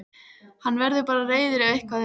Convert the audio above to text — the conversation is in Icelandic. Hann verður bara reiður ef eitthvað er.